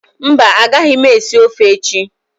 Mba, a gaghị m esi ofe echi